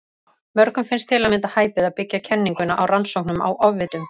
Mörgum finnst til að mynda hæpið að byggja kenninguna á rannsóknum á ofvitum.